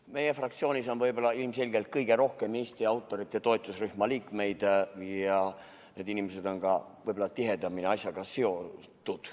Meie fraktsioonis on ilmselgelt kõige rohkem Eesti autorite toetusrühma liikmeid ja need inimesed on ka võib-olla tihedamini asjaga seotud.